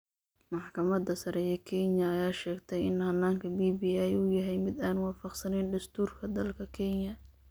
Maxkamadda sare ee Kenya ayaa sheegtay in hannaanka BBI uu yahay mid aan waafaqsanayn dastuurka dalka Kenya.